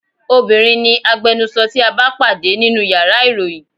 Obinrin ni agbẹnusọ tí a bá pàdé nínú yàrá ìròyìn.